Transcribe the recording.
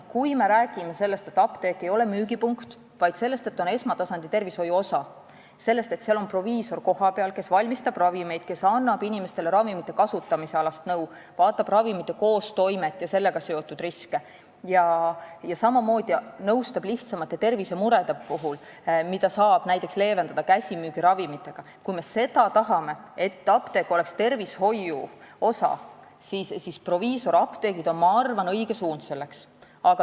Kui me tahame, et apteek ei oleks pelgalt müügipunkt, vaid esmatasandi tervishoiu osa – seal on kohapeal proviisor, kes valmistab ravimeid ja annab inimestele ravimite kasutamiseks nõu, vaatab nende koostoimet ja sellega seotud riske ning nõustab lihtsamate tervisemurede puhul, mida saab leevendada käsimüügiravimitega –, siis on proviisorapteegid minu arvates õige suund.